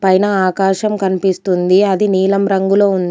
పైన ఆకాశం కనిపిస్తుంది అది నీలం రంగులో ఉంది.